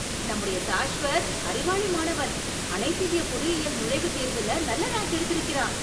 நம்முடைய சாஷ்வத் அறிவாளி மாணவன்! அனைத்திந்திய பொறியியல் நுழைவுத் தேர்வுல நல்ல ரேங்க் எடுத்திருக்கிறான்.